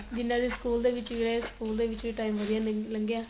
ਜਿੰਨਾ ਚਿਰ school ਦੇ ਵਿੱਚ ਰਹੇ school ਦੇ ਵਿੱਚ ਵੀ time ਵਧੀਆ ਲੰਗਿਆ